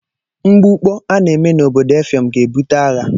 Mgbukpọ a na-eme n'obodo Effium ga-ebute agha.